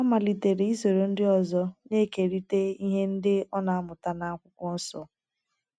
Ọ malitere isoro ndị ọzọ na - ekerịta ihe ndị ọ na - amụta nakwụkwọnsọ.